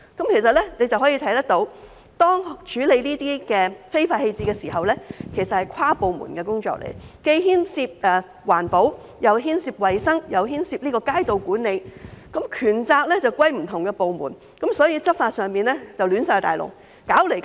由此可見，處理這些非法棄置的情況是跨部門的工作，既牽涉環保、衞生，又牽涉街道管理，權責則歸屬不同部門，所以執法出現大混亂，弄來弄去也處理不好。